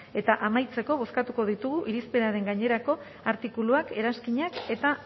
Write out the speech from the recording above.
eta amaitzeko bozkatuko ditugu irizpenaren gainerako artikuluak eranskinak eta